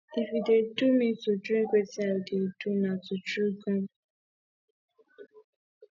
if e dey do me to drink wetin i dey do na to chew gum